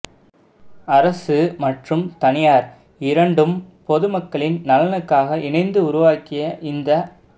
அரசு மற்றும் தனியார் இரண்டும் பொதுமக்களின் நலனுக்காக இணைந்து உருவாக்கிய இந்த